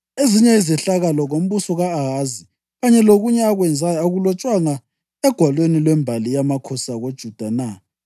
Ezinye izehlakalo ngombuso ka-Ahazi, kanye lokunye akwenzayo, akulotshwanga egwalweni lwembali yamakhosi akoJuda na?